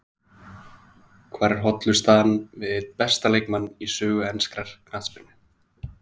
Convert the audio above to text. Hvar er hollustan við einn besta leikmann í sögu enskrar knattspyrnu?